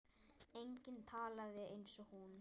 Enginn talaði eins og hún.